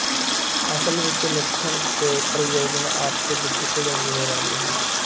ਅਸਲ ਵਿੱਚ ਲੱਛਣ ਤੇ ਪ੍ਰਯੋਜਨ ਆਪਸ ਵਿੱਚ ਘੁਲੇ ਮਿਲੇ ਰਹਿੰਦੇ ਹਨ